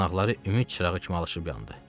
Yanaqları ümid çırağı kimi alışıb yandı.